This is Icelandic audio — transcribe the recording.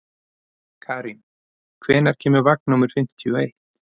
Karín, hvenær kemur vagn númer fimmtíu og eitt?